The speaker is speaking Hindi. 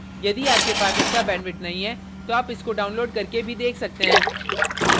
यदि आपके पास अच्छा bandwidth नहीं है तो आप इसको download करके भी देख सकते हैं